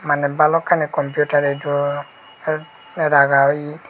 mane balukkani computer edu help raga oye.